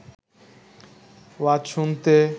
ওয়াজ শুনতে